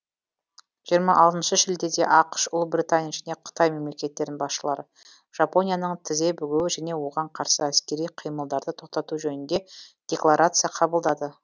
жиырма алтыншы шілдеде ақш ұлыбритания және қытай мемлекеттерінің басшылары жапонияның тізе бүгуі және оған қарсы әскери қимылдарды тоқтату жөнінде декларация қабылдады